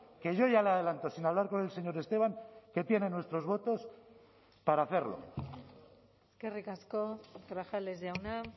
que yo ya le adelanto sin hablar con el señor esteban que tienen nuestros votos para hacerlo eskerrik asko grajales jauna